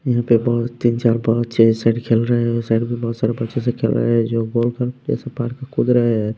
यहाँ पे बहुत तीन चार बच्चे इस साइड खेल रहे हैं उस साइड भी बहुत सारे बच्चे से खेल रहे हैं जो गोल का जैसे पार कूद रहे हैं।